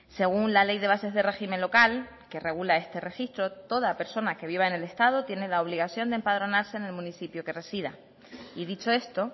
según la ley de bases de régimen local que regula este registro toda persona que viva en el estado tiene la obligación de empadronarse en el municipio que resida y dicho esto